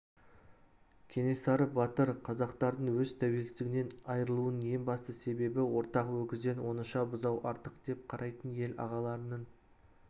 кенесары батыр қазақтардың өз тәуелсіздігінен айрылуының ең басты себебі ортақ өгізден оңаша бұзау артық деп қарайтын ел ағаларының